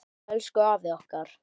Elsku afi okkar.